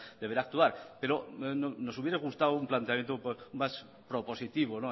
deberá actuar pero nos hubiera gustado un planteamiento más propositivo